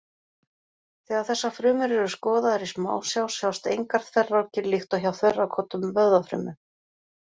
Þegar þessar frumur eru skoðaðar í smásjá sjást engar þverrákir líkt og hjá þverrákóttum vöðvafrumum.